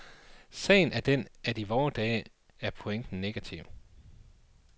Sagen er den, at i vore dage er pointen negativ.